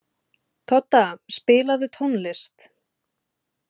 Todda, spilaðu tónlist.